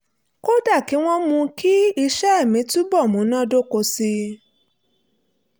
kódà kí wọ́n mú kí iṣẹ́ mi túbọ̀ múnádóko sí i